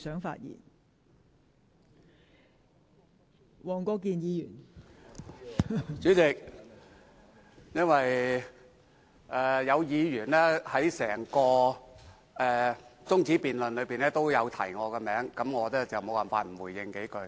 代理主席，因為有議員在整項中止待續議案的辯論中提及我的名字，我無法不回應幾句。